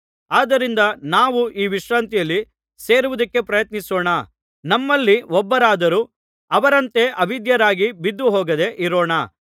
ಆದ್ದರಿಂದ ನಾವು ಈ ವಿಶ್ರಾಂತಿಯಲ್ಲಿ ಸೇರುವುದಕ್ಕೆ ಪ್ರಯತ್ನಿಸೋಣ ನಮ್ಮಲ್ಲಿ ಒಬ್ಬರಾದರೂ ಅವರಂತೆ ಅವಿಧೇಯರಾಗಿ ಬಿದ್ದುಹೋಗದೆ ಇರೋಣ